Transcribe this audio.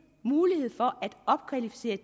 er